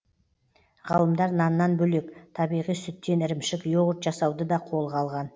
ғылымдар наннан бөлек табиғи сүттен ірімшік йогурт жасауды да қолған алған